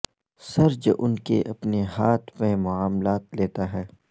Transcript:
سرج ان کے اپنے ہاتھ میں معاملات لیتا ہے